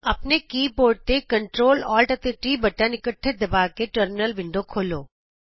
ਆਪਣੇ keyboard ਤੋਂ Ctrl Alt ਅਤੇ T ਬਟਨ ਇੱਕਠੇ ਦਬਾ ਕੇ ਟਰਮਿਨਲ ਵਿੰਡੋ ਖੋਲ੍ਹੋ